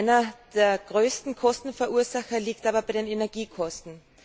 Einer der größten Kostenverursacher liegt aber bei den Energiekosten.